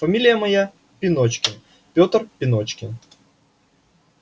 фамилия моя пеночкин пётр пеночкин